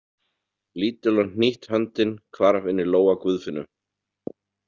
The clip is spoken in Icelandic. Lítil og hnýtt höndin hvarf inn í lófa Guðfinnu.